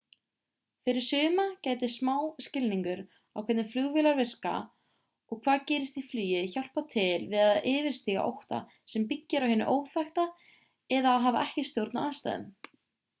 fyrir suma gæti smá skilningur á hvernig flugvélar virka og hvað gerist í flugi hjálpað til við að yfirstíga ótta sem byggir á hinu óþekkta eða að hafa ekki stjórn á aðstæðum